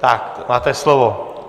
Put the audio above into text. Tak, máte slovo.